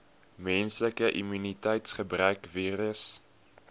menslike immuniteitsgebrekvirus